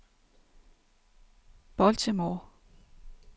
Baltimore